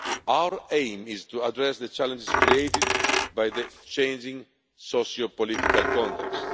Our aim is to address the challenges created by the changing socio political context.